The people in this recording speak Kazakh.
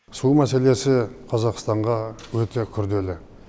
су мәселесі қазақстанға өте күрделі